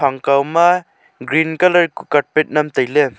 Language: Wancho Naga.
phang kau ma green colour kuh carpet nyem taile.